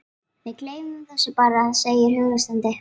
Við gleymum þessu bara, segir hann hughreystandi.